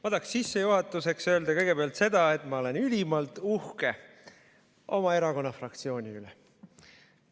Ma tahaksin sissejuhatuseks öelda kõigepealt seda, et ma olen ülimalt uhke oma erakonna fraktsiooni üle.